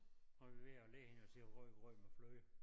Så vi ved at lære hende at sige rødgrød med fløde